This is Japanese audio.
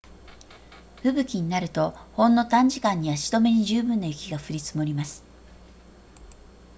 吹雪になるとほんの短時間に足止めに十分な雪が降り積もります